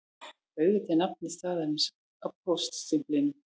Auðvitað er nafn staðarins á póststimplinum